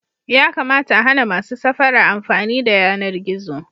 Yakamata a hana masu safara amfani da yanar gizo.